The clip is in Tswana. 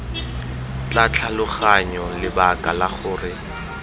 tla tlhaloganya lebaka la gore